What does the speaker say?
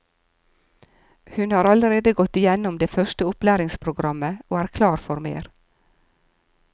Hun har allerede gått gjennom det første opplæringsprogrammet og er klar for mer.